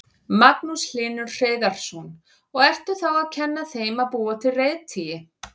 Magnús Hlynur Hreiðarsson: Og ertu þá að kenna þeim að búa til reiðtygi?